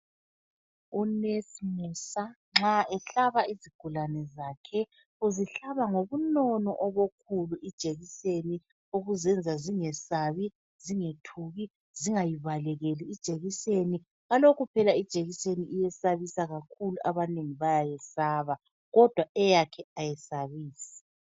Unesi Musa nxa ehlaba izigulani zakhe, uzihlaba ngobunono obukhulu ijekiseni okuzenza zingesabi, zingethuki, zingayibalekeli ijekiseni kalokhu phela ijekiseni iyesabisa kakhulu abanengi bayayesaba kodwa eyakhe ayisabisi.